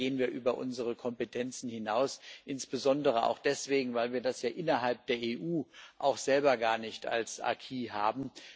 Ich glaube, da gehen wir über unsere Kompetenzen hinaus, insbesondere auch deswegen, weil wir das innerhalb der EU auch selber gar nicht als acquis haben.